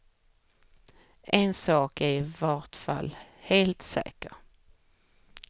En sak är i vart fall helt säker.